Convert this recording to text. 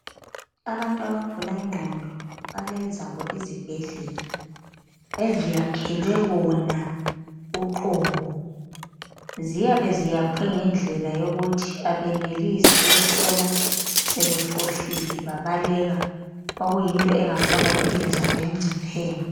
Abantu abagula ingqondo balezabo izibhedlela eziyakhelwe bona uqobo. Ziyabe ziyakhwe ngendlela yokuthi abenelisi ukuthola sebefohlile babaleka okuyinto engafaka impilo zabo encopheni.